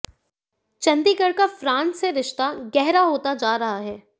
चंडीगढ़ का फ्रांस से रिश्ता गहरा होता जा रहा है